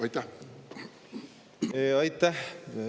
Aitäh!